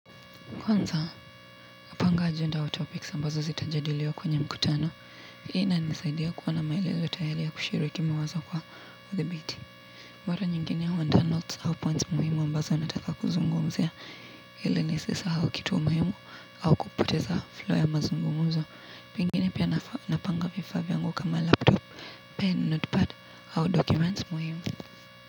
Kwanza napanga ajenda au topics ambazo zitajadiliwa kwenye mkutano, hii inanisaidia kuwa na maelezo tayari ya kushiriki mawazo kwa uthibiti. Mwara nyingine huandaa notes au points muhimu ambazo nataka kuzungumzia ili nisisahau kitu muhimu au kupoteza flow ya mazungumuzo. Pengine pia napanga vifaa vyangu kama laptop, pen, notepad au documents muhimu.